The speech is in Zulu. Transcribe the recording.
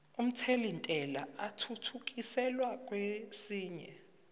omthelintela athuthukiselwa kwesinye